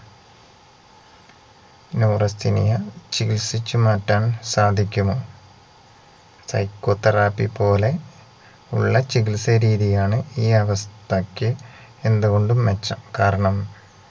neurasthenia ചികിൽസിച്ച് മാറ്റാൻ സാധിക്കുമോ psycho therapy പോലെ ഉള്ള ചികിത്സരീതിയാണ് ഈ അവസ്ഥക്ക് എന്തുകൊണ്ടും മെച്ചം കാരണം